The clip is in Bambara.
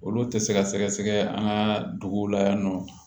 Olu tɛ se ka sɛgɛsɛgɛ an ka duguw la yan nɔ